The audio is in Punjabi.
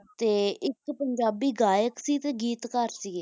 ਤੇ ਇੱਕ ਪੰਜਾਬੀ ਗਾਇਕ ਸੀ ਤੇ ਗੀਤਕਾਰ ਸੀਗੇ ਹਾਂ ਹਾਂ